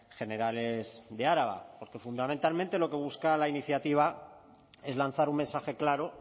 generales de araba porque fundamentalmente lo que busca la iniciativa es lanzar un mensaje claro